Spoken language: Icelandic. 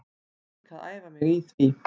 Er líka að æfa mig í því.